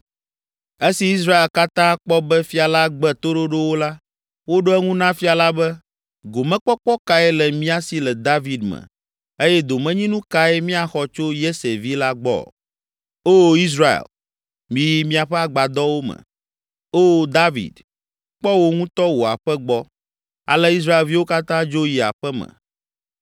Esi Israel katã kpɔ be fia la gbe toɖoɖo wo la, woɖo eŋu na fia la be, “Gomekpɔkpɔ kae le mía si le David me eye domenyinu kae míaxɔ tso Yese vi la gbɔ? Oo Israel, miyi miaƒe agbadɔwo me! Oo David, kpɔ wò ŋutɔ wò aƒe gbɔ!” Ale Israelviwo katã dzo yi aƒe me.